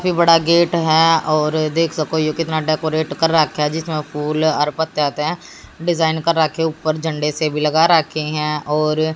सबसे बड़ा गेट है और देख सको ये कितना डेकोरेट कर रखा है जिस में फूल और पत्ते आते है डिजाइन कर रखे ऊपर झंडे से भी लगा राखे और--